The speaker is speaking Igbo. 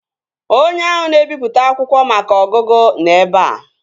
Onye ahụ na-ebipụta akwụkwọ maka ọgụgụ nọ ebea